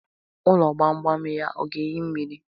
Ụlọ gbam gbam ya ọ ga-ehi mmiri?